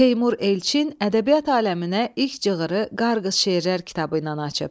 Teymur Elçin ədəbiyyat aləminə ilk cığırı Qarğız şeirlər kitabı ilə açıb.